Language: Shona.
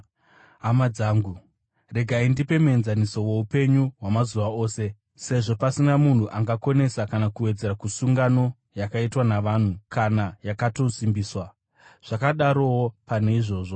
Hama dzangu, regai ndipe muenzaniso woupenyu hwamazuva ose. Sezvo pasina munhu angakonesa kana kuwedzera kusungano yakaitwa navanhu kana yakatosimbiswa, zvakadarowo pane izvozvi.